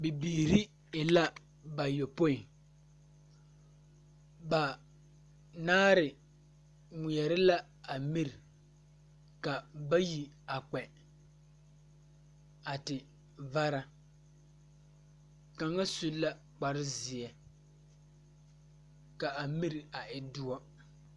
Bibiiri be la ayopoi banaare ŋmeɛrɛ la a miri ka a bayi a kpɛ a te vara kaŋa su la kpare zeɛ ka a miri a e doɔ.